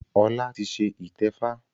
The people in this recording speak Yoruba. Ọlá ti ṣe ìtẹ́fá